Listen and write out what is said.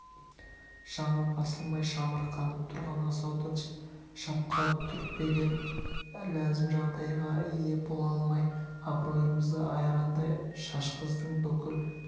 шамы басылмай шамырқанып тұрған асауды шапқа түртпеген ләзім жағдайға ие бола алмай абройымызды айрандай шашқыздың бүкіл